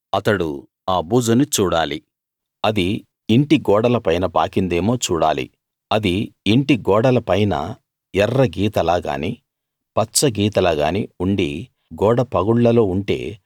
అతడు ఆ బూజుని చూడాలి అది ఇంటి గోడల పైన పాకిందేమో చూడాలి అది ఇంటి గోడలపైన ఎర్ర గీతలా గానీ పచ్చ గీతలా గానీ ఉండి గోడ పగుళ్ళలో ఉంటే